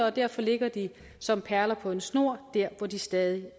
og derfor ligger de som perler på en snor der hvor de stadig